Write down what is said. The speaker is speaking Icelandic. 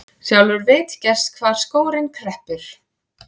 Sjálfur veit gerst hvar skórinn kreppir.